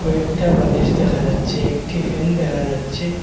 একটা বালিশ দেখা যাচ্ছে একটি ফ্যান দেখা যাচ্ছে।